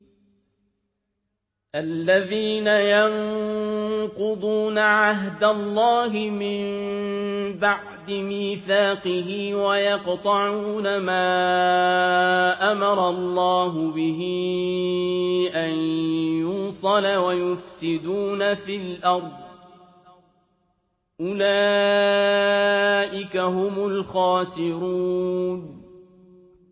الَّذِينَ يَنقُضُونَ عَهْدَ اللَّهِ مِن بَعْدِ مِيثَاقِهِ وَيَقْطَعُونَ مَا أَمَرَ اللَّهُ بِهِ أَن يُوصَلَ وَيُفْسِدُونَ فِي الْأَرْضِ ۚ أُولَٰئِكَ هُمُ الْخَاسِرُونَ